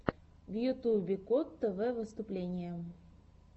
в ютубе кот тв выступление